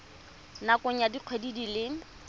nakong ya dikgwedi di le